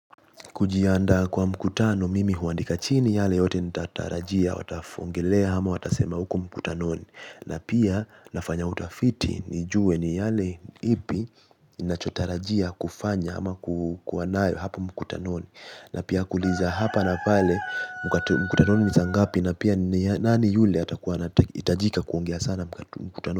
Kujianda kwa mkutano mimi huandika chini yale yote nitatarajia watafongelea ama watasema huku mkutanoni na pia nafanya utafiti nijue ni yale ipi nachotarajia kufanya ama kuwa nae hapo mkutanoni na pia kuuliza hapa na pale mkutanoni nisa ngapi na pia nani yule itajika kuongea sana mkutanoni.